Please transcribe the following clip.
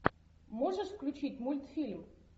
можешь включить мультфильм